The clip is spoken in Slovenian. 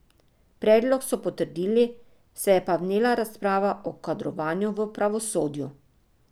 Predlog so potrdili, se je pa vnela razprava o kadrovanju v pravosodju.